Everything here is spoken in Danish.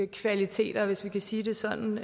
kvaliteter hvis man kan sige det sådan